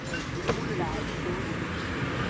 ஏய், stool டா, செவுடு.